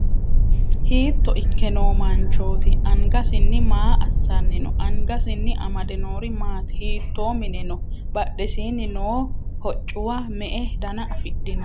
Hiitto ikke noo manchooti? Angasinni ma assanni no? Angasinni amade noori maati? Hiittoo mine no? Badhesiinni noo hoccuwa me"e dana afidhino?